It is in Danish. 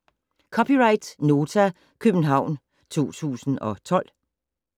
(c) Nota, København 2012